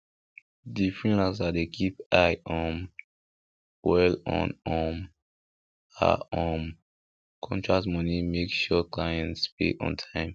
di freelancer dey keep eye um well on um her um contract money make sure clients pay on time